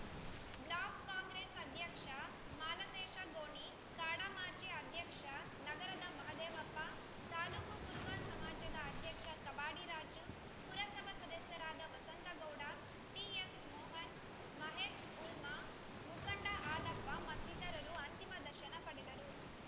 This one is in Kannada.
ಬ್ಲಾಕ್‌ ಕಾಂಗ್ರೆಸ್‌ ಅಧ್ಯಕ್ಷ ಮಾಲತೇಶ ಗೋಣಿ ಕಾಡಾ ಮಾಜಿ ಅಧ್ಯಕ್ಷ ನಗರದ ಮಹಾದೇವಪ್ಪ ತಾಲೂಕು ಕುರುಬ ಸಮಾಜದ ಅಧ್ಯಕ್ಷ ಕಬಾಡಿ ರಾಜು ಪುರಸಭಾ ಸದಸ್ಯರಾದ ವಸಂತಗೌಡ ಟಿಎಸ್‌ ಮೋಹನ ಮಹೇಶ್‌ ಹುಲ್ಮ ಮುಖಂಡ ಹಾಲಪ್ಪ ಮತ್ತಿತರರು ಅಂತಿಮ ದರ್ಶನ ಪಡೆದರು